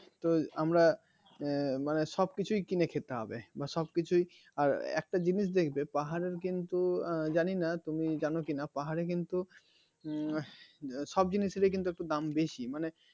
তো আমরা মানে সব কিছু কিনে খেতে হবে সবকিছুই আর একটা জিনিস দেখবেপাহাড়ের কিন্তু জানি না তুমি জানো কিনা পাহাড়ে কিন্তু উম সব জিনিস এর কিন্তু দাম বেশি মানে